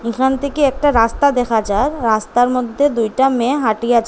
এখান থেকে একটা রাস্তা দেখা যায় রাস্তার মধ্যে দুইটা মেয়ে হাটিয়া যা--